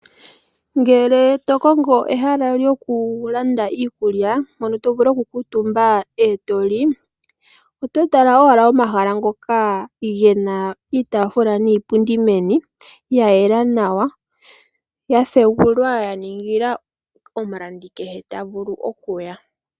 Ngele tokongo ehala lyokulanda iikulya mpono tovulu okukuutumba ee toli, oto tala owala omahala ngoka gena iitaafula niipundi meni , ya yela nawa, ya pugulwa yaningila omulandi kehe tavulu okuya.